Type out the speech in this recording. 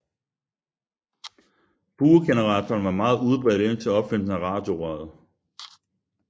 Buegeneratoren var meget udbredt indtil opfindelsen af radiorøret